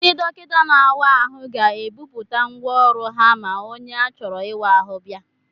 Ndị dọkịta na-awa ahụ ga-ebuputa ngwa ọrụ ha ma onye a chọrọ ịwa ahụ bịa.